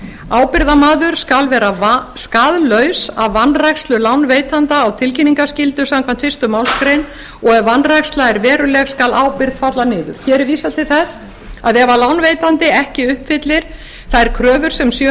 ábyrgðarmaður skal vera skaðlaus af vanrækslu lánveitanda á tilkynningarskyldu samkvæmt fyrstu málsgrein og ef vanræksla er veruleg skal ábyrgð falla niður hér er vísað til þess að ef lánveitandi ekki uppfyllir þær kröfur sem